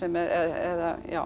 eða